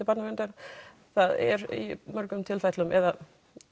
Barnaverndar það er í mörgum tilfellum eða